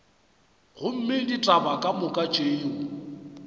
gomme ditaba ka moka tšeo